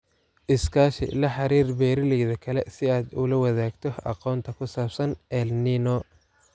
Iskaashi La xiriir beeralayda kale si aad ula wadaagto aqoonta ku saabsan El Niño.